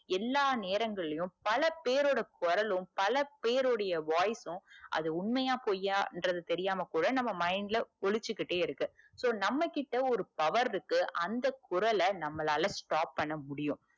எல்லா நேரங்களிலும் பல பேரோட குரலும் பலபேருடைய voice சும் அது உண்மையா பொய்யான்றது தெரியாம கூட நம்ம mind ல ஒளிச்சிகிட்டே இருக்கு so நம்ம கிட்ட ஒரு power இருக்கு அந்த குரல நம்மளால stop பண்ண முடியும்.